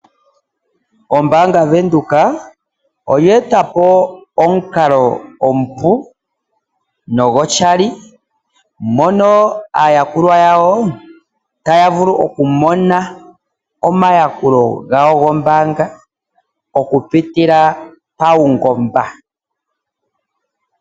Ombaanga yaVenduka oye eta po omukalo omupu nogoshali mono aayakulwa yawo taya vulu okumona omayakulo gawo gombaanga okupitila paungomba.